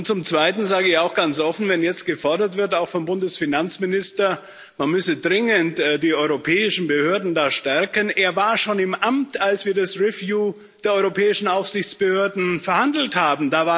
Zum Zweiten sage ich auch ganz offen, wenn jetzt gefordert wird auch vom Bundesfinanzminister man müsse da dringend die europäischen Behörden stärken Er war schon im Amt, als wir das Review der europäischen Aufsichtsbehörden verhandelt haben.